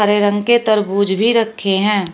हरे रंग के तरबूज भी रखें हैं।